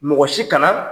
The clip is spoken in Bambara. Mɔgɔ si kana